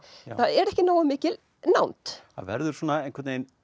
það er ekki nógu mikil nánd það verður svona einhvern veginn